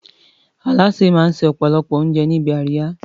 Alásè máa ń se ọ̀pọ̀lọpọ̀ àwọn oúnjẹ níbi àríyá.